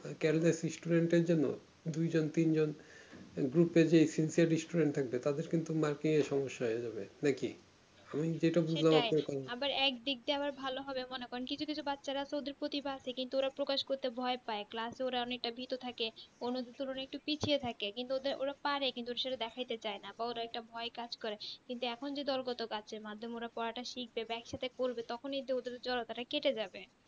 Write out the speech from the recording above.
অন্য দেড় তুলনায় পিছিয়ে থেকে কিন্তু ওরা ওটা পারে সেটা দেখাইতে চায়না একটা ভয় কাজ করে এখুন এখুন যে কত কাজ সে মাধ্যমে োর পড়াটা শিখবে সেটা করবে তখনি তো জড়তা তা কেটে যাবে